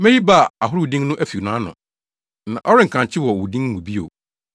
Meyi Baal ahorow din no afi nʼano; na ɔrenkankye wɔ wɔn din mu bio.